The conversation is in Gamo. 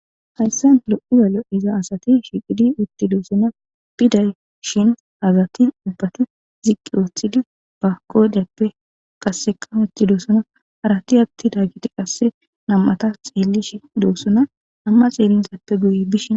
hayssan lo'o lo'iza asati shiqidi uttidoossona piday shin hazati ubbati ziqqi ooththidi bakodappe qasseka utidosona harati atti daa giti qasse nam'ata xeelishi doossona , nam'a xeelizappe guye bishin